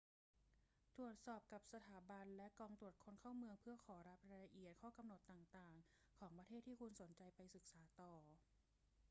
ตรวจสอบกับสถาบันและกองตรวจคนเข้าเมืองเพื่อขอรับรายละเอียดข้อกำหนดต่าง ๆ ของประเทศที่คุณสนใจไปศึกษาต่อ